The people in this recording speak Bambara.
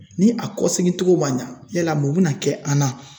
Ni a kɔsigi togo ma ɲa yala mun bina kɛ an na